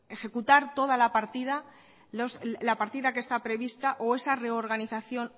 ejecutar toda la partida que está prevista o esa reorganización